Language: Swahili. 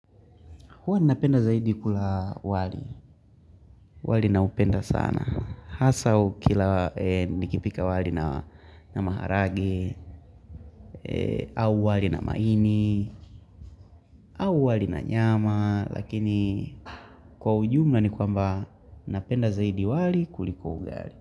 Huwa napenda zaidi kula wali, wali na upenda sana. Hasa ukila nikipika wali na maharagwe au wali na maini, au wali na nyama, lakini kwa ujumla ni kwamba napenda zaidi wali kuliko ugali.